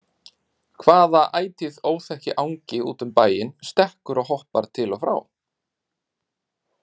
Hvaða ætíð óþekki angi út um bæinn stekkur og hoppar til og frá?